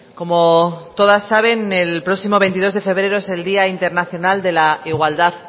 como todas saben el próximo veintidós de febrero es el día internacional de la igualdad